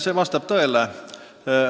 See vastab tõele.